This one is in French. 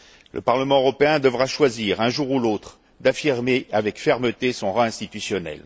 Le Parlement européen devra choisir un jour ou l'autre d'affirmer avec fermeté son rang institutionnel.